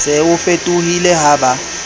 se o fetohile ha ba